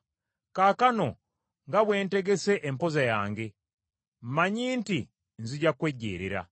Kaakano nga bwe ntegese empoza yange, mmanyi nti nzija kwejeerera.